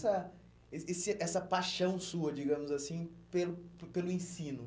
essa eh esse essa paixão sua, digamos assim, pelo por pelo ensino?